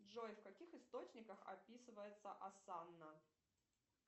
джой в каких источниках описывается осанна